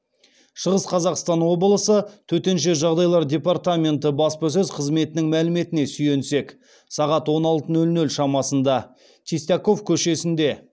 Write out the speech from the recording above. шығыс қазақстан облысы төтенше жағдайлар департаменті баспасөз қызметінің мәліметіне сүйенсек сағат он алты нөл нөл шамасында чистяков көшесінде